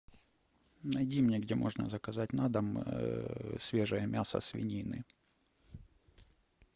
найди мне где можно заказать на дом свежее мясо свинины